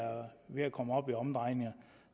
ved at komme op i omdrejninger